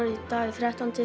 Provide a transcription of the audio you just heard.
dag er þrettánda